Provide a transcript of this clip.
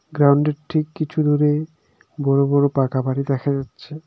গ্রাউন্ডের ঠিক কিছু দূরে বড় বড় পাকা বাড়ি দেখা যাচ্ছে.